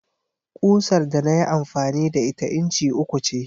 Ƙusar da na yi amfani da ita inci uku ce.